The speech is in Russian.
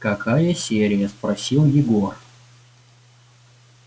какая серия спросил егор